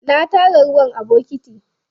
Na tara ruwa a bokiti.